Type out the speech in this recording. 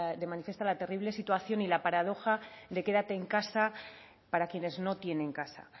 la terrible situación y la paradoja de quédate en casa para quienes no tienen casa